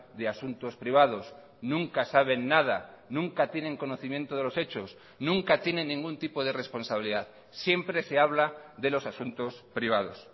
de asuntos privados nunca saben nada nunca tienen conocimiento de los hechos nunca tienen ningún tipo de responsabilidad siempre se habla de los asuntos privados